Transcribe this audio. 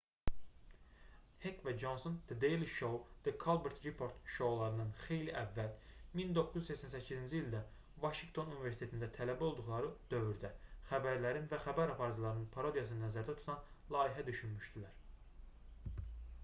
hek və conson the daily show və the colbert report şoularından xeyli əvvəl 1988-ci ildə vaşinqton universitetində tələbə olduqları dövrdə xəbərlərin və xəbər aparıcılarının parodiyasını nəzərdə tutan layihə düşünmüşdülər